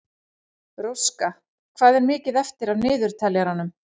Róska, hvað er mikið eftir af niðurteljaranum?